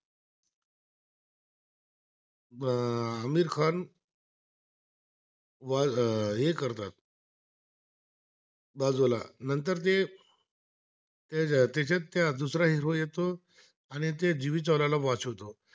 बाजूला नंतर ते, हे त्याच्या त्या दुसरा हिरो येतो, आणि ते जुई चावला वाचवतो